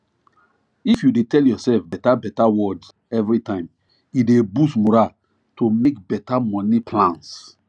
if you dey tell yourself beta beta words everytime e dey boost moral to make better money plans